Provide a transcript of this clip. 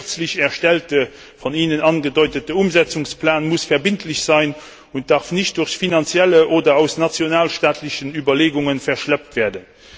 Der kürzlich erstellte, von Ihnen angedeutete Umsetzungsplan muss verbindlich sein und darf nicht durch finanzielle oder nationalstaatliche Überlegungen verschleppt werden.